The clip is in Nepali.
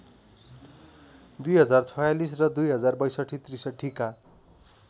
२०४६ र २०६२ ६३ का